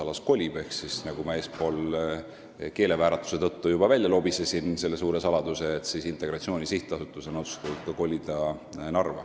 Ma juba lobisesin eespool keelevääratuse tõttu välja selle suure saladuse, et Integratsiooni Sihtasutus on otsustatud Narva kolida.